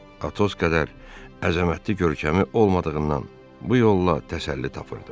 Atos qədər əzəmətli görkəmi olmadığından bu yolla təsəlli tapırdı.